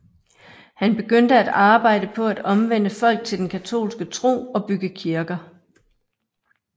Han begyndte at arbejde på at omvende folk til den katolske tro og bygge kirker